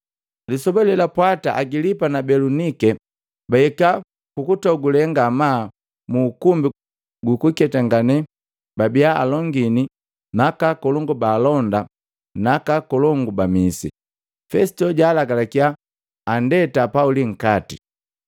Lisoba lelapwata Agilipa na Belunike bahika kukutogule ngamaa muukumbi gukukentakane babia alongini na akakolongu ba alonda na aka akolongu ba misi. Fesito jaalagalakia Pauli andeta nkati,